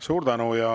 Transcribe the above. Suur tänu!